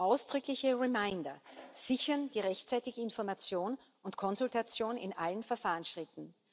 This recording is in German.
Ausdrückliche reminder sichern die rechtzeitige Information und Konsultation in allen Verfahrensschritten.